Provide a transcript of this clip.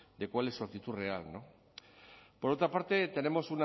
de cuál es su actitud real por otra parte tenemos